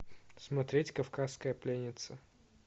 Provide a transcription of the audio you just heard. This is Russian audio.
смотреть кавказская пленница